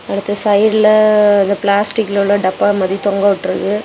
அடுத்து சைடுல அஅ அந்த பிளாஸ்டிக் உள்ள டப்பா மாதிரி தொங்கவிட்டு இருக்கு.